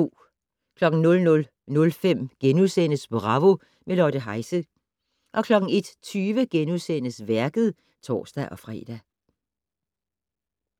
00:05: Bravo - med Lotte Heise * 01:20: Værket *(tor-fre)